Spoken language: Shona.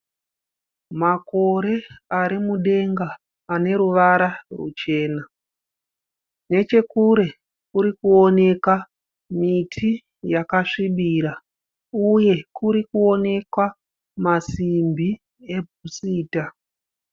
Makore arimudenga aneruvara rwuchena. Nechekure kurikoneka miti yakasvibira, uye kurikuonekwa masimbi ebhusita.